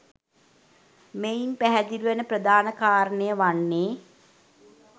මෙයින් පැහැදිලි වන ප්‍රධාන කාරණය වන්නේ